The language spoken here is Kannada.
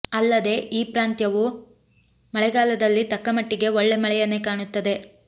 ಅಲ್ಲದೆ ಈ ಪ್ರಾಂತ್ಯವು ಮಳೆಗಾಲದಲ್ಲಿ ತಕ್ಕ ಮಟ್ಟಿಗೆ ಒಳ್ಳೆ ಮಳೆಯನ್ನೆ ಕಾಣುತ್ತದೆ